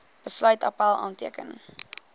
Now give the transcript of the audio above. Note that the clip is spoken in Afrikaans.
besluit appèl aanteken